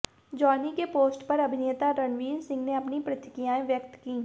Johnny के post पर अभिनेता रणवीर सिंह ने अपनी प्रतिक्रियाएं व्यक्त कीं